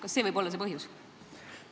Kas see võib olla see põhjus?